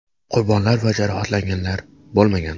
Qurbonlar va jarohatlanganlar bo‘lmagan.